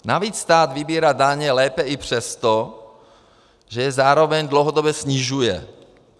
Navíc stát vybírá daně lépe i přesto, že je zároveň dlouhodobě snižuje.